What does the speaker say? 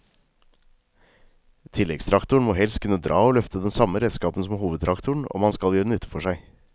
Tilleggstraktoren må helst kunne dra og løfte den samme redskapen som hovedtraktoren om han skal gjøre nytte for seg.